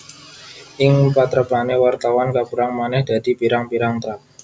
Ing patrapané wartawan kapérang manèh dadi pirang pirang trap